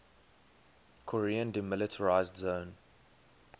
korean demilitarized zone